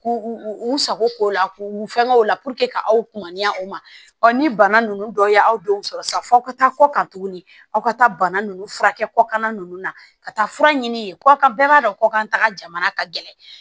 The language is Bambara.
K'u u sago k'o la k'u fɛngɛ o la ka aw kunnaya u ma ni bana ninnu dɔ ye aw denw sɔrɔ sisan aw ka taa kɔ kan tuguni aw ka taa bana ninnu furakɛ kɔkan ninnu na ka taa fura ɲini yen ka bɛɛ b'a dɔn ko an taga ka gɛlɛn